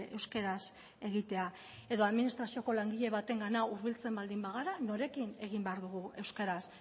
euskaraz egitea edo administrazioko langile batengana hurbiltzen baldin bagara norekin egin behar dugu euskaraz